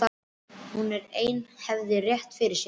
Hún ein hafði rétt fyrir sér.